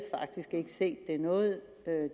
ikke set det er noget